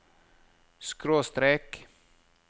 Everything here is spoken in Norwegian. skråstrek